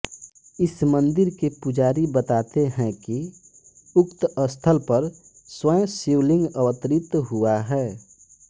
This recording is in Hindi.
इस मंदिर के पुजारी बताते हैं कि उक्त स्थल पर स्वयं शिवलिंग अवतरित हुआ है